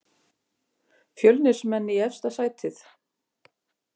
Fjölnismenn í efsta sætið